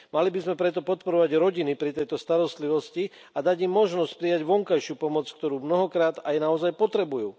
Mali by sme preto podporovať rodiny pri tejto starostlivosti a dať im možnosť prijať vonkajšiu pomoc, ktorú mnohokrát aj naozaj potrebujú.